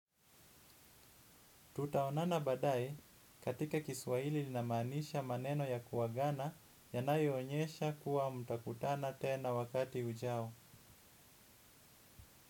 Tutaonana badae katika kiswaili inamaanisha maneno ya kuwagana yanayonyesha kuwa mutakutana tena wakati ujao.